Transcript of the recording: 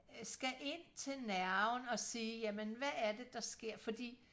skal ind til nerven og sige hvad er det der sker fordi